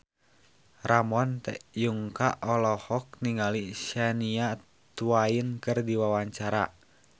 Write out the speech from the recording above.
Ramon T. Yungka olohok ningali Shania Twain keur diwawancara